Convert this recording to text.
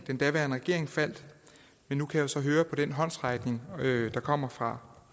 den daværende regering faldt men nu kan jeg så høre på den håndsrækning der kommer fra